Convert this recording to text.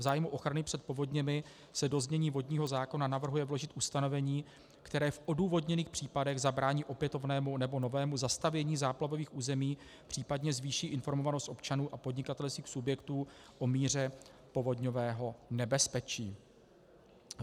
V zájmu ochrany před povodněmi se do znění vodního zákona navrhuje vložit ustanovení, které v odůvodněných případech zabrání opětovnému nebo novému zastavění záplavových území, případně zvýší informovanost občanů a podnikatelských subjektů o míře povodňového nebezpečí.